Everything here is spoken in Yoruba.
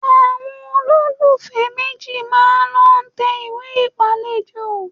Àwọn olólùfẹ́ méjì máa lọ tẹ ìwé ìpàlejò